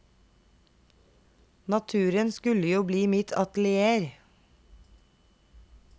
Naturen skulle jo bli mitt atelier.